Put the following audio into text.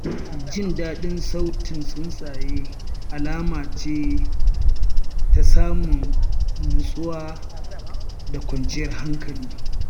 Jin daɗin sautin tsuntsaye alama ce ta samun nutsuwa da kwanciyar hankali.